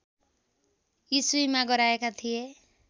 इस्वीमा गराएका थिए